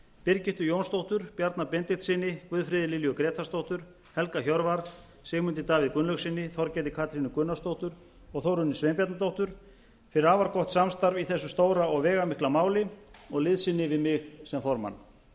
birgittu jónsdóttur bjarna benediktssyni guðfríði lilju grétarsdóttur helga hjörvar sigmundi davíð gunnlaugssyni þorgerði katrínu gunnarsdóttur og þórunni sveinbjarnardóttur fyrir afar gott samstarf í þessu stóra og veigamikla máli og liðsinni við mig sem formann